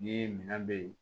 Ni minɛn be ye